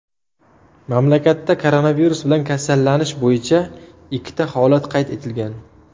Mamlakatda koronavirus bilan kasallanish bo‘yicha ikkita holat qayd etilgan.